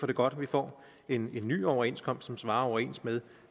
det godt at vi får en ny overenskomst som stemmer overens med